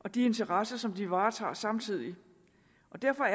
og de interesser som de varetager samtidig og derfor er